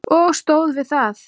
Og stóð við það.